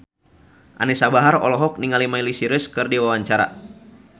Anisa Bahar olohok ningali Miley Cyrus keur diwawancara